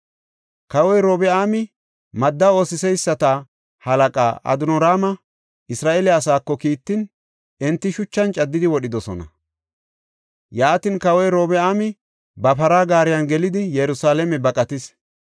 Kawoy Robi7aami madda ootheyisata halaqaa Adoniraama Isra7eele asaako kiittin, enti shuchan caddidi wodhidosona. Yaatin, kawoy Robi7aami ba para gaariyan gelidi Yerusalaame baqatis.